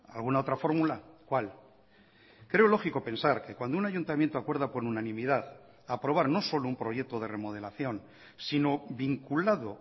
alguna otra fórmula cuál creo lógico pensar que cuando un ayuntamiento acuerda por unanimidad aprobar no solo un proyecto de remodelación si no vinculado